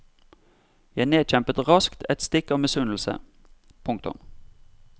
Jeg nedkjempet raskt et stikk av misunnelse. punktum